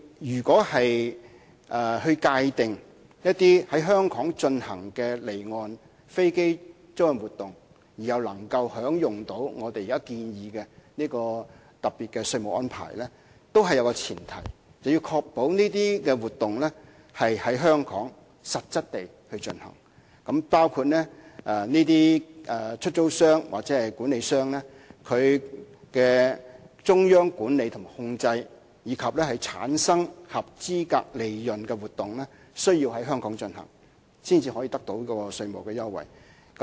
如果我們界定在香港進行的離岸飛機租賃活動，而又可以享用現時建議的特別稅務安排，當中也有一個前提，就是要確保這些活動是在香港實質地進行，包括出租商或管理商的中央管理及控制，以及產生合資格利潤的活動亦需要實質在香港進行，才可以得到稅務優惠。